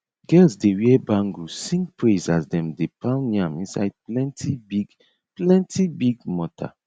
girls dey wear bangle sing praise as them dey pound yam inside plenty big plenty big mortar